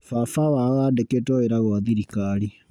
Baba wao andĩkĩtwo wĩra gwa thirikari.